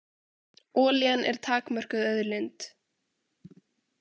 Olían er takmörkuð auðlind.